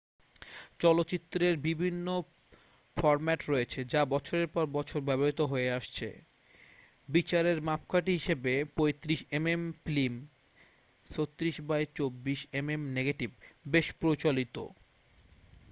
চলচ্চিত্রের বিভিন্ন ফর্ম্যাট রয়েছে যা বছরের পর বছর ব্যবহৃত হয়ে আসছে। বিচারের মাপকাঠি হিসাবে 35 mm film 36 by 24 mm negative বেশ প্রচলিত।